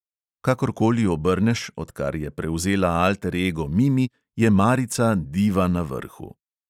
Kakorkoli obrneš, odkar je prevzela alter ego mimi, je marica diva na vrhu.